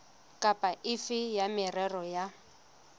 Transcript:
kapa efe ya merero ya